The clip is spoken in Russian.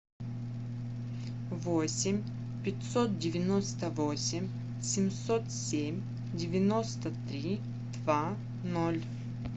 восемь пятьсот девяносто восемь семьсот семь девяносто три два ноль